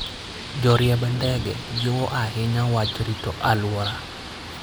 Joriemb ndege jiwo ahinya wach rito alwora.